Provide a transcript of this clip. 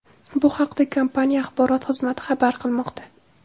Bu haqda kompaniya axborot xizmati xabar qilmoqda .